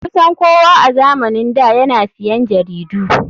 Kusan kowa a zamanin da yana siyan jaridu.